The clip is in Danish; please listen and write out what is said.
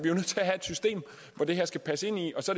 det her skal passe ind i og så